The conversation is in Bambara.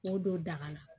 K'o don daga la